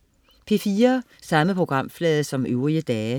P4: